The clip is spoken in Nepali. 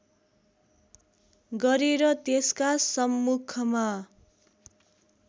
गरेर त्यसका सम्मुखमा